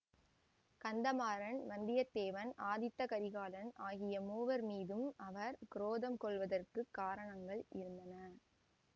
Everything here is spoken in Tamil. கந்தமாறன் வந்தியத்தேவன் ஆதித்த கரிகாலன் ஆகிய மூவர் மீதும் அவர் குரோதம் கொள்வதற்குக் காரணங்கள் இருந்தன